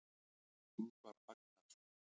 Ingvar Agnarsson.